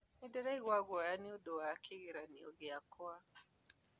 Nĩndĩraigua guoya nondũ wa kĩgeranio gĩakwa